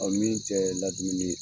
min tɛ ladumuni ye.